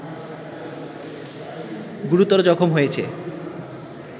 গুরুতর জখম হয়েছ